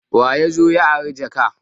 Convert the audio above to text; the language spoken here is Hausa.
Waya zo ya ari jak?